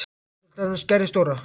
Þegar hún til dæmis gerði stóra